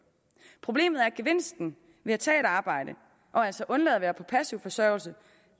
problemet er at gevinsten ved at tage et arbejde og altså undlade at være på passiv forsørgelse